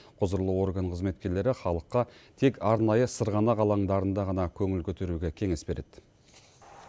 құзырлы орган қызметкерлері халыққа тек арнайы сырғанақ алаңдарында ғана көңіл көтеруге кеңес береді